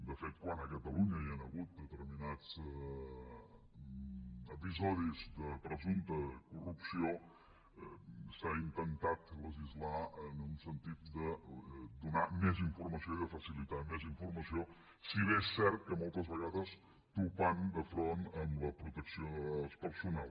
de fet quan a catalunya hi han hagut determinats episodis de presumpta corrupció s’ha intentat legislar en un sentit de donar més informació i de facilitar més informació si bé és cert que moltes vegades topant de front amb la protecció de dades personal